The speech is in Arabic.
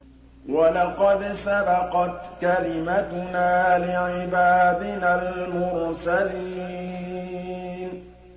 وَلَقَدْ سَبَقَتْ كَلِمَتُنَا لِعِبَادِنَا الْمُرْسَلِينَ